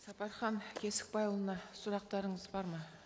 сапархан кесікбайұлына сұрақтарыңыз бар ма